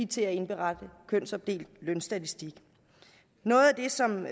til at indberette kønsopdelt lønstatistik noget af det som